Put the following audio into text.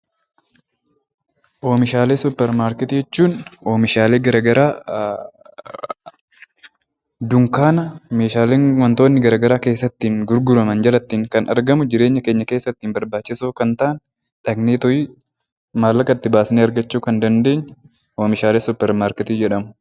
Oomishaalee supper markettii jechuun meeshaaleen garagaraa dunkaana keessatti gurguramanidha fi jireenya keenya keessatti barbaachisoo ta'anidha.